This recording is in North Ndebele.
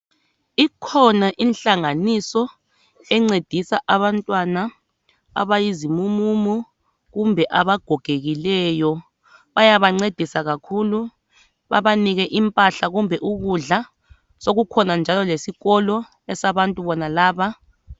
Ikhona inhlanganiso encedisa abantwana abayizimumumu kumbe abagogekileyo, bayabancedisa kakhulu babanike impahla kumbe ukudla, sekukhona njalo lesikolo esabantu bonalaba.